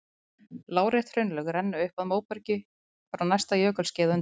Lárétt hraunlög renna upp að móberginu frá næsta jökulskeiði á undan.